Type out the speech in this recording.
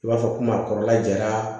I b'a fɔ komi a kɔrɔla jara